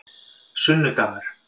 sunnudagar